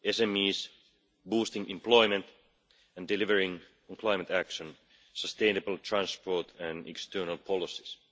SMEs, boosting employment and delivering on climate action, sustainable transport and external policies.